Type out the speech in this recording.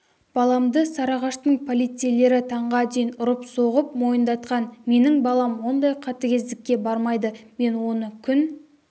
баламды сарыағаштың полицейлері таңға дейін ұрып соғып мойындатқан менің балам ондай қатыгездікке бармайды мен оны күн